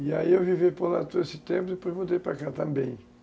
E aí eu vivi por lá todo esse tempo e depois mudei para cá também.